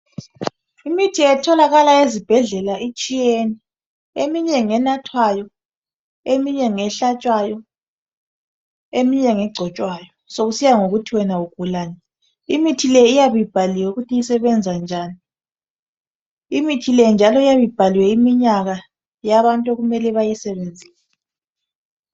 imithi etholakla ezibhedlelaitshiyene eyinye ngenathwayo eminye ngehlatshwayo eminye ngegcitshwayo sokuya ngokuthi wena ugula njani imithi leyi iyabeibhaliwe ukuthi isebenza njani iithile njalo iyabe ibhaliwe iminyaka yabantu okumele bayisebenzise.